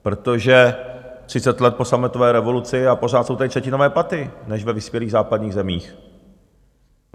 Protože třicet let po sametové revoluci, a pořád jsou tady třetinové platy než ve vyspělých západních zemích.